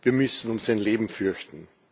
Wir müssen um sein Leben fürchten.